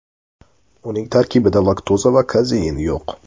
Uning tarkbida laktoza va kazein yo‘q.